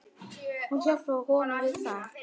Hún hjálpar honum við það.